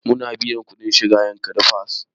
Mun biya kuɗin shiga yankari park